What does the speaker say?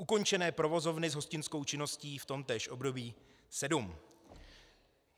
Ukončené provozovny s hostinskou činností v tomtéž období sedm.